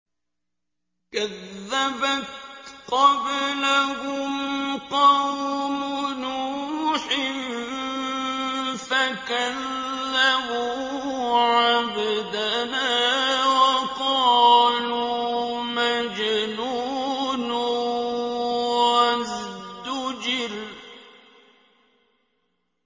۞ كَذَّبَتْ قَبْلَهُمْ قَوْمُ نُوحٍ فَكَذَّبُوا عَبْدَنَا وَقَالُوا مَجْنُونٌ وَازْدُجِرَ